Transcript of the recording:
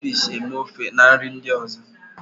A na-eji crayfish eme ofe na nri ndị ọzọ.